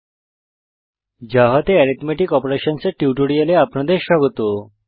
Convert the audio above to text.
Javaজাভা তে অ্যারিথমেটিক অপারেশনসের টিউটোরিয়ালে আপনাদের স্বাগত